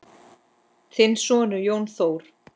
Þinn sonur, Jón Þór.